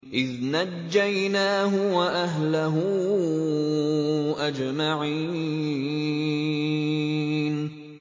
إِذْ نَجَّيْنَاهُ وَأَهْلَهُ أَجْمَعِينَ